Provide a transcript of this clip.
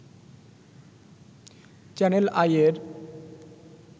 channel আইয়ের